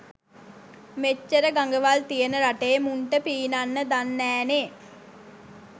මෙච්චර ගඟවල් තියෙන රටේ මුන්ට පීනන්න දන්නෑනේ.